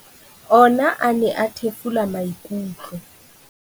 Ona a ne a thefula maikutlo.